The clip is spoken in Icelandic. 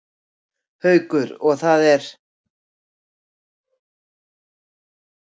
Haukur: Og það er?